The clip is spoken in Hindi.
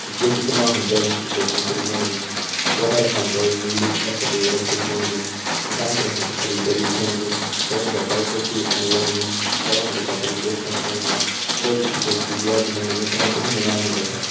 ये चित्र मा हमते एक बड़ु टेंट दिखेण लग्युं जै पर हम तें नीलू अर सफ़ेद रंग च दिखेण लग्युं नीसाण फणि हम तें हरी दरी दिखेण लगीं जफणि बहोत सारी कुर्सी अर मेजन लगीं जफणा हम त बहोत सारा लोग छा दिखेण लग्यां उंडे बिटि हम ते एक डी.जे वाला दिखेण लग्युं जमा कुछ नौनियाल भी बैठ्यां।